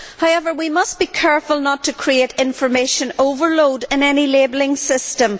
However, we must be careful not to create information overload in any labelling system.